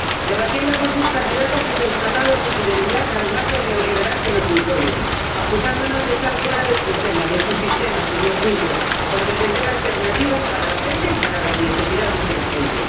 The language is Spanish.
Debatiendo con sus candidatos he constatado su fidelidad al marco neoliberal que nos imponen, acusándonos de estar fuera del sistema —de su sistema, señor Juncker— por defender alternativas para la gente y para las necesidades de la gente.